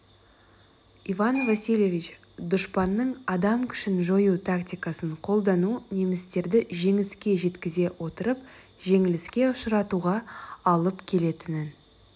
иван васильевич дұшпанның адам күшін жою тактикасын қолдану немістерді жеңіске жеткізе отырып жеңіліске ұшыратуға алып келетінін